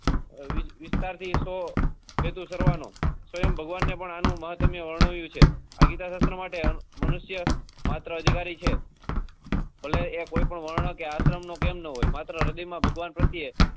વિસ્તાર થી સો છેતુ અનુસરવા નો સ્ભવયં ભગવાન એ પણ આનું મહત્વ વર્ણવ્યું છે આ ગીતા શાસ્ત્ર માટે મનુષ્ય માત્ર અધિકારી છે ભલે એ કોઈ પણ વણ કે આશ્રમ નો કેમ ના હોય માત્ર હૃદય માં ભગવાન પ્રત્યય